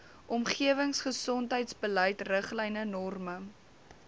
omgewingsgesondheidsbeleid riglyne norme